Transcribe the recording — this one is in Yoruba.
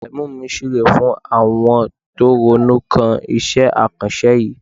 Èmi mi súre fún àwọn tó ronú kan iṣẹ́ àkànṣe yìí.